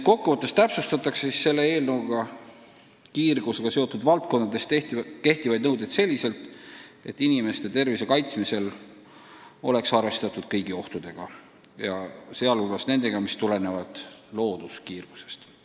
Kokku võttes täpsustatakse tulevases seaduses kiirgusega seotud valdkondades kehtivaid nõudeid selliselt, et inimeste tervise kaitsmisel oleks arvestatud kõigi ohtudega, sh nendega, mis tulenevad looduskiirgusest.